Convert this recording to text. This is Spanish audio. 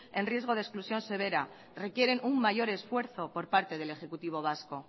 en riesgo de exclusión severa requieren un mayor esfuerzo por parte del ejecutivo vasco